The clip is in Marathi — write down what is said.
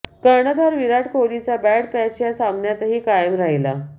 कर्णधार विराट कोहलीचा बॅड पॅच या सामन्यातही कायम राहिला